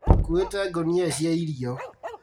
Tũkuĩte ngũnia cia irio